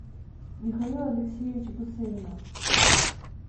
михаил алексеевич гусейнов